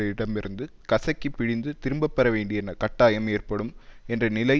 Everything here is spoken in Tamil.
இடமிருந்து கசக்கிப் பிழிந்து திரும்ப பெற வேண்டிய கட்டாயம் ஏற்படும் என்ற நிலை